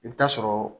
I bɛ taa sɔrɔ